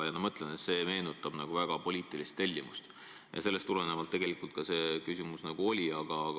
Ja see meenutab väga poliitilist tellimust ja sellest tulenevalt see küsimus ka oli.